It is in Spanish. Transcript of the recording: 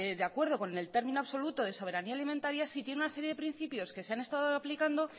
de acuerdo con en el término absoluto de soberanía alimentaria sí tiene una serie de principios que se han estado aplicando